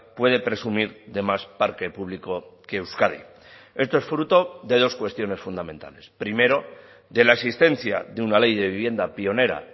puede presumir de más parque público que euskadi esto es fruto de dos cuestiones fundamentales primero de la existencia de una ley de vivienda pionera